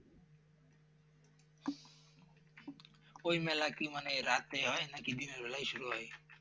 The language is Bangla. ওই মেলা কি মানে রাতে হয় নাকি দিনের মেলায় শুরু হয়